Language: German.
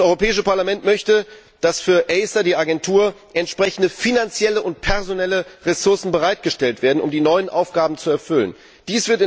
Das Europäische Parlament möchte, dass für die Agentur ACER entsprechende finanzielle und personelle Ressourcen bereitgestellt werden, damit sie die neuen Aufgaben erfüllen kann.